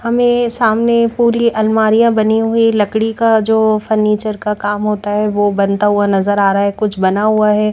हमें सामने पूरी अलमारियां बनी हुई लकड़ी का जो फर्नीचर का काम होता है। वह बनता हुआ नजर आ रहा है कुछ बना हुआ है।